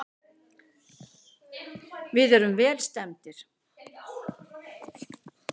Við erum vel stemmdir.